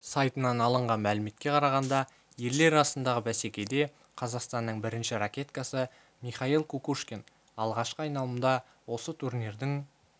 сайтынан алынған мәліметке қарағанда ерлер арасындағы бәсекеде қазақстанның бірінші ракеткасы михаил кукушкин алғашқы айналымда осы турнирдің